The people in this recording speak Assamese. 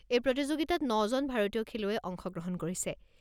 এই প্ৰতিযোগিতাত ন জন ভাৰতীয় খেলুৱৈয়ে অংশগ্ৰহণ কৰিছে।